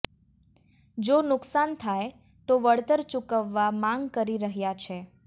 જો નુકસાન થાય તો વળતર ચુકવવા માગ કરી રહ્યા છે